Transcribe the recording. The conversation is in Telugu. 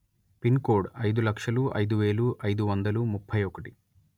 పిన్ కోడ్ అయిదు లక్షలు అయిదు వేలు అయిదు వందలు ముప్పై ఒకటి